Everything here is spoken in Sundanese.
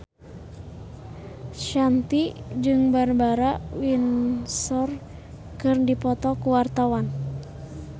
Shanti jeung Barbara Windsor keur dipoto ku wartawan